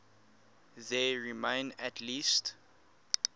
there remain at least